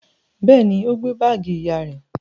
Bẹ́ẹ̀ ni, ó gbé báágì ìyá rẹ̀.